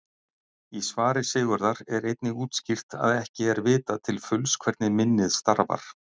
Í svari Sigurðar er einnig útskýrt að ekki er vitað til fulls hvernig minnið starfar.